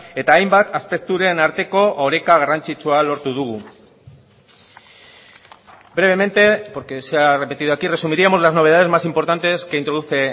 eta hainbat aspekturen arteko oreka garrantzitsua lortu dugu brevemente porque se ha repetido aquí resumiríamos las novedades más importantes que introduce